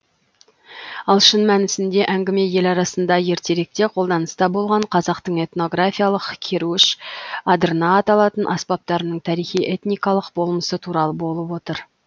ал шын мәнісінде әңгіме ел арасында ертеректе қолданыста болған қазақтың этнографиялық керуіш адырна аталатын аспаптарының тарихи этникалық болмысы туралы болып отыр